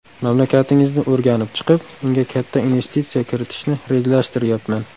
Mamlakatingizni o‘rganib chiqib, unga katta investitsiya kiritishni rejalashtiryapman.